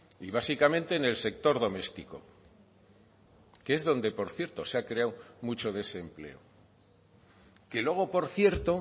y básicamente en el sector doméstico que es donde por cierto se ha creado mucho desempleo que luego por cierto